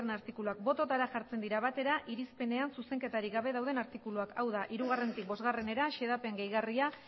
artikuluak bototara jartzen dira batera irizpenean zuzenketarik gabe dauden artikuluak hau da hiruetik bostera xedapen gehigarria